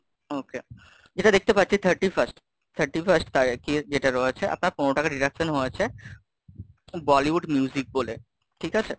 okay, যেটা দেখতে পাচ্ছি Thirty Fast, Thirty Fast যেটা রয়ছে আপনার পনেরো টাকার deduction হয়ছে, Bollywood music বলে, ঠিক আছে?